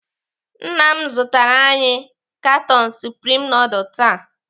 Nna m zụtara anyị katon supreme nudul taa.